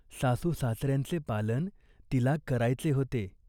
सासूसासऱ्यांचे पालन तिला करायचे होते.